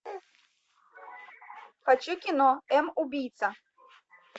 хочу кино м убийца